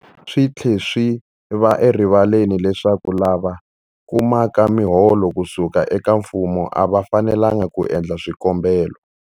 Swi tlhe swi va erivaleni leswaku lava kumaka miholo ku suka eka mfumo a va fanelanga ku endla swikombelo.